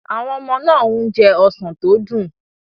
Àwọn ọmọ náà ń jẹ ọsàn tó dùn.